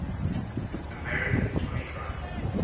american screenwriters